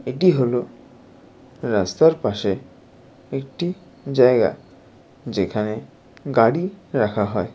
এটি হলো রাস্তার পাশে একটিজায়গা যেখানে গাড়িরাখা হয়।